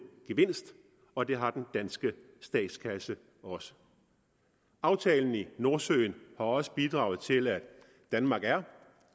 gevinst og det har den danske statskasse også aftalen i nordsøen har også bidraget til at danmark er